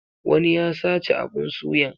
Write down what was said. Wani ya sace abun suyan.